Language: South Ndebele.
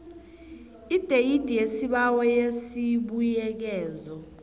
ideyidi yesibawo yesibuyekezo